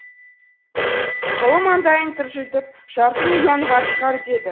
ұлы маңдайын тыржитып жарты миллион бар шығар деді